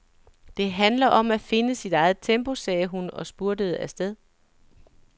Det handler om at finde sit eget tempo, sagde hun og spurtede afsted.